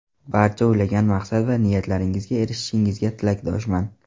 Barcha o‘ylagan maqsad va niyatlaringizga erishishingizga tilakdoshman.